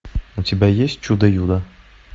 у тебя есть чудо юдо